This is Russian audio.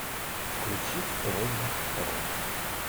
включи прог рок